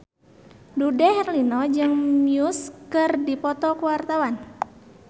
Dude Herlino jeung Muse keur dipoto ku wartawan